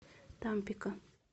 тампико